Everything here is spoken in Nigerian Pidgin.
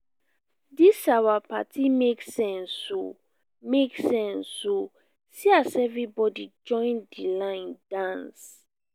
dis our party make sense o make sense o see as everybody join di line dance.